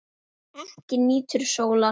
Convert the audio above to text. Ekki nýtur sólar.